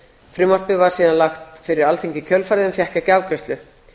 frumvarpið var síðan lagt fyrir alþingi í kjölfarið en fékk ekki afgreiðslu